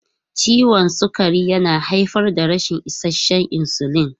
Ciwon sukari yana haifar da rashin isasshen insulin.